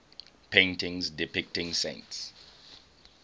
paintings depicting saints